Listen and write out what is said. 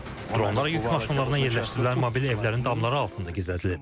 Dronlar yük maşınlarına yerləşdirilən mobil evlərin damları altında gizlədilib.